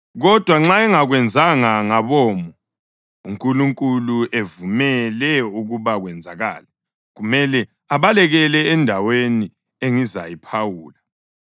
Kodwa nxa engakwenzanga ngabomo, uNkulunkulu evumele ukuba kwenzakale, kumele abalekele endaweni engizayiphawula.